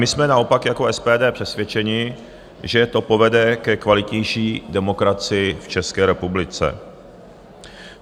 My jsme naopak jako SPD přesvědčeni, že to povede ke kvalitnější demokracii v České republice.